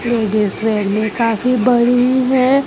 में काफी बड़ी है।